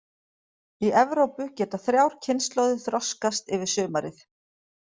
Í Evrópu geta þrjár kynslóðir þroskast yfir sumarið.